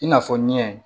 I n'a fɔ ɲɛ